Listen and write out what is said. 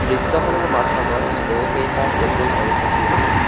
দৃশ্যখনৰ মাজভাগত বহুকেইটা টেবুল আৰু চকী আছে।